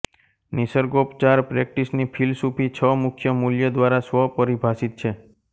નિસર્ગોપચાર પ્રેક્ટિસની ફિલસૂફી છ મુખ્ય મૂ્લ્ય દ્વારા સ્વપરિભાષિત છે